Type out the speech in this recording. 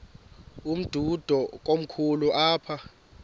umdudo komkhulu apha